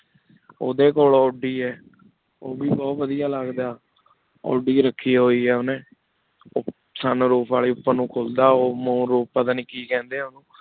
ਉਠੀ ਕੋਲ ਔਡੀ ਆ ਉਵੀ ਬੁਹਤ ਵਾਦੇਯਾ ਲਘਦਾ ਆਉਦੀ ਰਾਖੀ ਹੋਏ ਆ ਓਨੀ sun roof ਵਾਲੀ ਉਪਰ ਨੂ ਖੁਲਦਾ ਓਹੋ ਪਤਾ ਨਹੀ ਕੀ ਕੇਹੰਡੀ ਓਹਨੁ